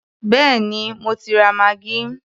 Béèni mo ti ra maggi.